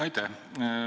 Aitäh!